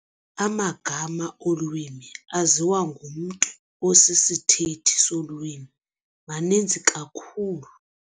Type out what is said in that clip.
Amagama olwimi aziwa ngumntu osisithethi solwimi maninzi kakhulu.